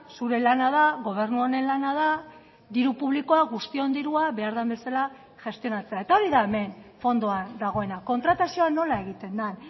zure lana da gobernu honen lana da diru publikoa guztion dirua behar den bezala gestionatzea eta hori da hemen fondoan dagoena kontratazioa nola egiten den